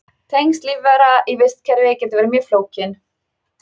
Tengsl lífvera í vistkerfi geta verið mjög flókin.